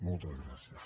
moltes gràcies